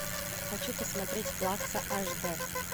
хочу посмотреть плакса аш д